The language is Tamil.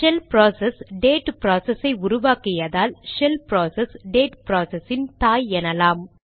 ஷெல் ப்ராசஸ் டேட் ப்ராசஸ் ஐ உருவாக்கியதால் ஷெல் ப்ராசஸ் டேட் ப்ராசஸின் தாய் எனலாம்